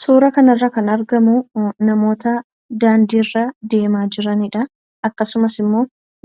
Suura kanarra kan argamuu namoota daandiirra deemaa jiran akkasumas immoo